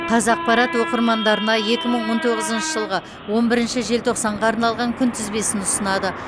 қазақпарат оқырмандарына екі мың он тоғызыншы жылғы он бірінші желтоқсанға арналған күнтізбесін ұсынады